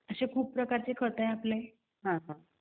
असं खूप प्रकारचे खत आहेत आपले